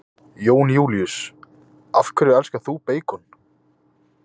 Jón Júlíus: Af hverju elskar þú beikon?